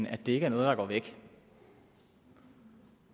at det ikke er noget der går væk